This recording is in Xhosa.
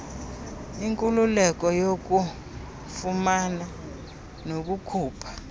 inkululeko yokufumana nokukhupha